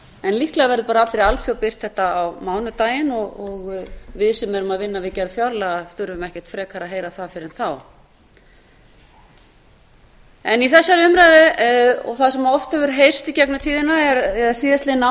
en líklega verður bara allri alþjóð birt þetta á mánudaginn og við sem erum að vinna við gerð fjárlaga þurfum ekkert frekar að heyra það fyrr en þá í þessari umræðu og það sem oft hefur heyrst í gegnum tíðina eða síðastliðið ár